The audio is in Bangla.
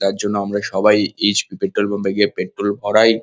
যার জন্য আমরা সবাই এইচ. পি. পেট্রল পাম্প -এ গিয়ে পেট্রল ভরাই।